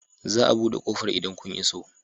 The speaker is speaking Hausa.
Za a buɗe ƙofar idan kun iso.